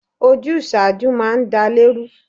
Ojúṣáájú máa ń dálè rú.